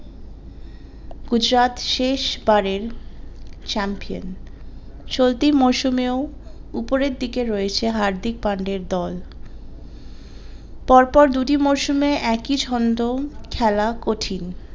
গুজরাট শেষ বারের champion চলতি মরসুমে ও উপরের দিকে রয়েছে হার্দিক পান্ডিয়ার দল পর পর দুটি মরসুমে একই ছন্দ খেলা কঠিন